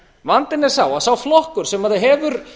vandinn er sá að sá flokkur sem hefur